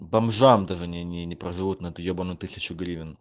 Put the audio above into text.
бомжам даже не не проживут на этой ебаной тысячу гривен